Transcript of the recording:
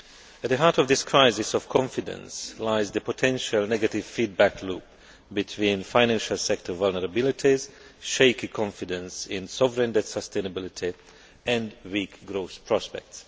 At the heart of this crisis of confidence lies the potential negative feedback loop between financial sector vulnerabilities, shaky confidence in sovereign debt sustainability, and weak growth prospects.